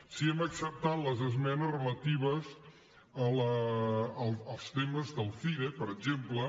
sí hem acceptat les esmenes relatives als temes del cire per exemple